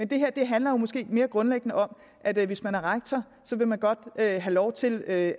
det her handler måske mere grundlæggende om at hvis man er rektor vil man godt have lov til at